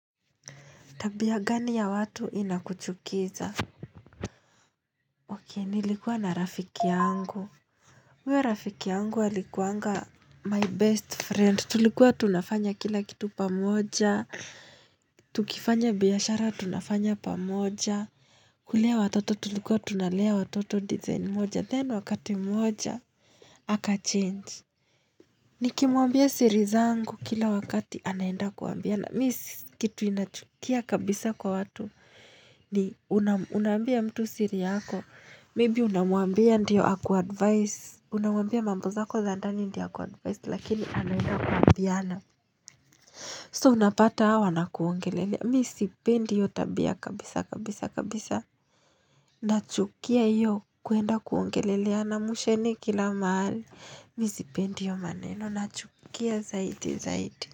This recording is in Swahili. Tabia gani ya watu inakuchukiza? Oke, nilikua na rafiki yangu. Huyo rafiki yangu alikuanga my best friend. Tulikuwa tunafanya kila kitu pamoja. Tukifanya biashara tunafanya pamoja. Kulea watoto tulikuwa tunalea watoto design moja. Then wakati moja, aka change. Nikimwambia siriza angu kila wakati anaenda kuambiana. Mis Kitu inachukia kabisa kwa watu ni unam unaambia mtu siri yako. Maybe unamwambia ndiyo akuadvice. Unamwambia mamboza ko zandani ndio akuadvice lakini anaenda kuambiana. So unapata awa na kuongelelea. Misipendi hio tabia kabisa kabisa kabisa. Nachukia hio kuenda kuongelelea na mushene kila maali. Misipendi hio maneno. Nachukia zaidi zaidi.